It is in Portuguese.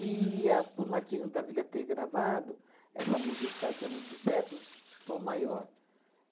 a, por Martinho da Vila ter gravado, essa música que se fazia muito sucesso, Tom Maior.